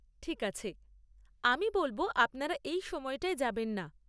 ঠিক আছে। আমি বলব আপনারা এই সময়টায় যাবেন না।